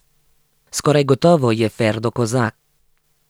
Skoraj gotovo je Ferdo Kozak.